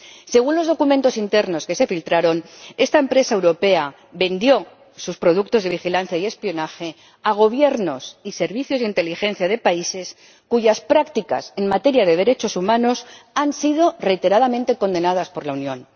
Según los documentos internos que se filtraron, esta empresa europea vendió sus productos de vigilancia y espionaje a Gobiernos y servicios de inteligencia de países cuyas prácticas en materia de derechos humanos han sido reiteradamente condenadas por la Unión.